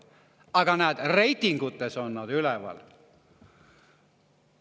Aga näed, reitingutes on nad üleval!